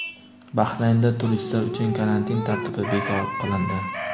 Bahraynda turistlar uchun karantin tartibi bekor qilindi.